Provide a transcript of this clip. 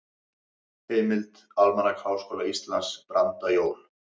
Heimild: Almanak Háskóla Íslands- Brandajól.